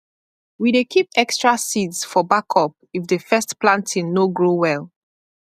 we dey keep extra seeds for backup if the first planting no grow well